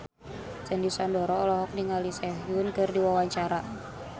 Sandy Sandoro olohok ningali Sehun keur diwawancara